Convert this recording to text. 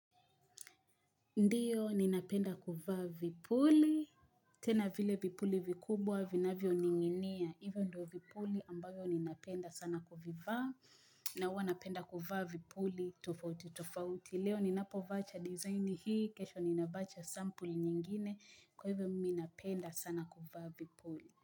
Ndiyo, ninapenda kuvaa vipuli. Tena vile vipuli vikubwa, vinavyoning'inia. Hivyo ndio vipuli ambavyo ninapenda sana kuvivaa. Na huwa napenda kuvaa vipuli, tofauti, tofauti. Leo, ninapovaa cha design hii. Kesho ninavaa cha sample nyingine. Kwa hivyo, mimi napenda sana kuvaa vipuli.